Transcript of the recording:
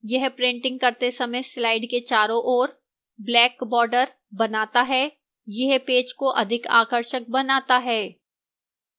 यह printing करते समय slide के चारों ओर black border बनाता है यह पेज को अधिक आकर्षक बनाता है